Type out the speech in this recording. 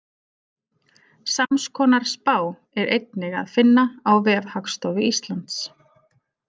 Samskonar spá er einnig að finna á vef Hagstofu Íslands.